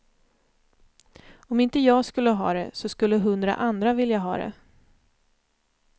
Om inte jag skulle ha det, så skulle hundra andra vilja ha det.